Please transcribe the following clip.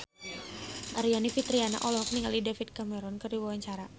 Aryani Fitriana olohok ningali David Cameron keur diwawancara